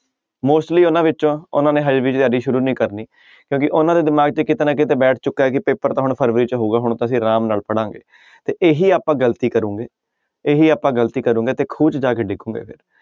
Mostly ਉਹਨਾਂ ਵਿੱਚੋਂ ਉਹਨਾਂ ਨੇ ਹਜੇ ਵੀ ਤਿਆਰੀ ਸ਼ੁਰੂ ਨੀ ਕਰਨੀ ਕਿਉਂਕਿ ਉਹਨਾਂ ਦੇ ਦਿਮਾਗ 'ਚ ਕਿਤੇ ਨਾ ਕਿਤੇ ਬੈਠ ਚੁੱਕਾ ਹੈ ਕਿ ਪੇਪਰ ਤਾਂ ਹੁਣ ਫਰਵਰੀ 'ਚ ਹੋਊਗਾ ਹੁਣ ਤਾਂ ਅਸੀਂ ਆਰਾਮ ਨਾਲ ਪੜ੍ਹਾਂਗੇ, ਤੇ ਇਹੀ ਆਪਾਂ ਗ਼ਲਤੀ ਕਰਾਂਗੇ ਇਹੀ ਆਪਾਂ ਗ਼ਲਤੀ ਕਰਾਂਗੇ ਤੇ ਖੂਹ 'ਚ ਜਾ ਕੇ ਡਿੱਗਾਂਗੇ ਫਿਰ।